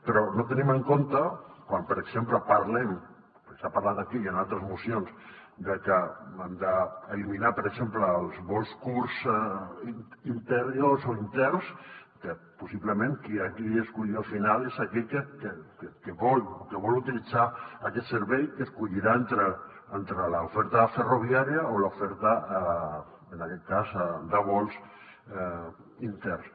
però no tenim en compte quan per exemple parlem perquè s’ha parlat aquí i en altres mocions de que hem d’eliminar per exemple els vols curts interiors o interns que possiblement qui aquí escull al final és aquell que vol utilitzar aquest servei que escollirà entre l’oferta ferroviària o l’oferta en aquest cas de vols interns